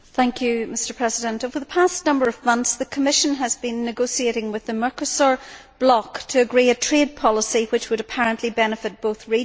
Mr President, over the past number of months the Commission has been negotiating with the Mercosur bloc to agree a trade policy which would apparently benefit both regions.